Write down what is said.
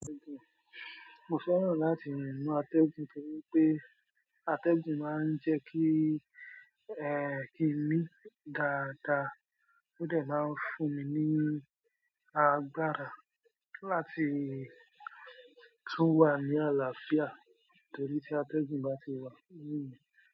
Mo fẹ́ràn láti rín nìnù àtẹ̀gùn nitoripe àtegun máa ń jẹ́ kí, kí mi dáadáa. Ó dà máa ń fún mi ní agbára láti tún wà ní àlàáfíà torí tí àtẹ̀gun bá ti wà lórí mi.